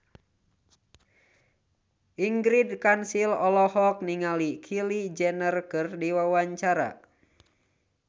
Ingrid Kansil olohok ningali Kylie Jenner keur diwawancara